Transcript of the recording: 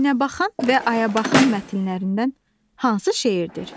Günəbaxan və ayabaxan mətnlərindən hansı şeirdir?